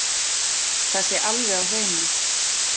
Það sé alveg á hreinu